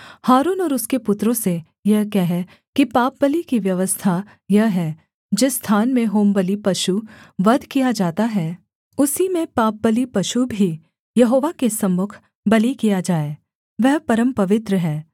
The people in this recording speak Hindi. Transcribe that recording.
हारून और उसके पुत्रों से यह कह कि पापबलि की व्यवस्था यह है जिस स्थान में होमबलि पशु वध किया जाता है उसी में पापबलि पशु भी यहोवा के सम्मुख बलि किया जाए वह परमपवित्र है